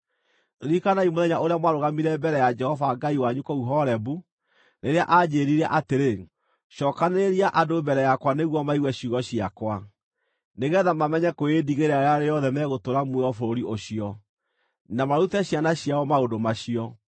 Ririkanai mũthenya ũrĩa mwarũgamire mbere ya Jehova Ngai wanyu kũu Horebu, rĩrĩa anjĩĩrire atĩrĩ, “Cookanĩrĩria andũ mbere yakwa nĩguo maigue ciugo ciakwa, nĩgeetha mamenye kwĩĩndigĩra rĩrĩa rĩothe megũtũũra muoyo bũrũri ũcio, na marute ciana ciao maũndũ macio.”